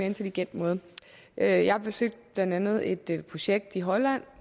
intelligent måde jeg har besøgt blandt andet et projekt i holland